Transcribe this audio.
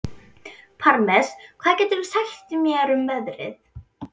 Parmes, hvað geturðu sagt mér um veðrið?